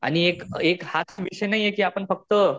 आणि एक एक हाच विषय नाहीये कि आपण फक्त